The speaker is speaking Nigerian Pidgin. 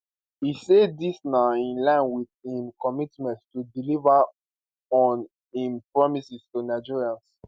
e say dis na in line wit im commitment to deliver on im promises to nigerians